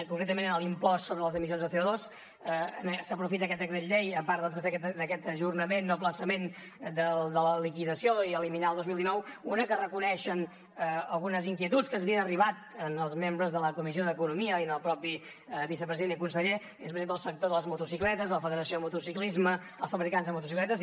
concretament en l’impost sobre les emissions de collei a part de per fer aquest ajornament o aplaçament de la liquidació i eliminar el dos mil dinou per una que reconeix algunes inquietuds que els havien arribat als membres de la comissió d’economia i al mateix vicepresident i conseller que és per exemple el sector de les motocicletes la federació de motociclisme els fabricants de motocicletes